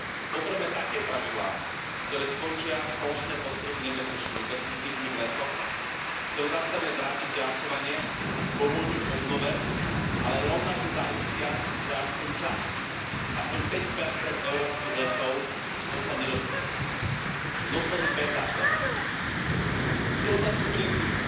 Potrebujeme také pravidlá, ktoré skončia plošné postreky nebezpečnými pesticídmi v lesoch, ktoré zastavia ich drancovanie, pomôžu ich obnove, ale rovnako zaistia, že aspoň časť, aspoň päť percent európskych lesov zostane nedotknutých, že zostanú bez zásahu. Ide o otázku princípu.